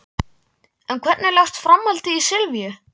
En hvernig leggst framhaldið í Silvíu?